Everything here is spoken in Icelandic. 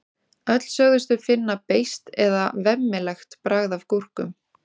öll sögðust þau finna beiskt eða „vemmilegt“ bragð af gúrkum